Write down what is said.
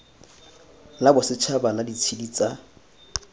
la bosetšhaba la ditshedi tsa